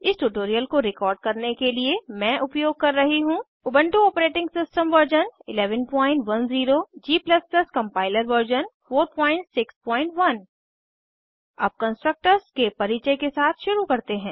इस ट्यूटोरियल को रिकॉर्ड करने के लिए मैं उपयोग कर रही हूँ Ubuntu operating system version 1110 g compiler version 461 अब कंस्ट्रक्टर्स के परिचय के साथ शुरू करते हैं